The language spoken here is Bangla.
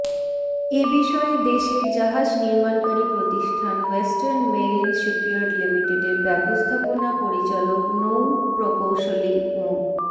এ বিষয়ে দেশের জাহাজ নির্মাণকারী প্রতিষ্ঠান ওয়েস্টার্ন মেরিন শিপইয়ার্ড লিমিটেডের ব্যবস্থাপনা পরিচালক নৌ প্রকৌশলী মো